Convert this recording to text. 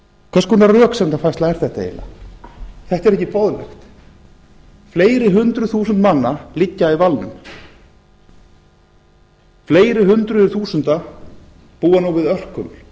hvers konar röksemdafærsla er þetta eiginlega þetta er ekki boðlegt fleiri hundruð þúsund manna liggja í valnum fleiri hundruð þúsunda búa nú við örkuml